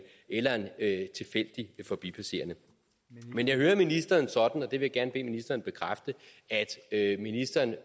eller en tilfældig forbipasserende men jeg hører ministeren sådan og det vil jeg gerne bede ministeren bekræfte at ministeren er